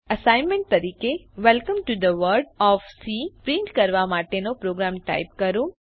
assignment તરીકે welcome to the world of C print કરવા માટેનો પ્રોગ્રામ ટાઇપ કરો